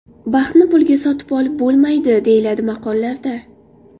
Baxtni pulga sotib olib bo‘lmaydi, deyiladi maqollarda.